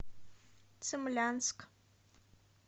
цимлянск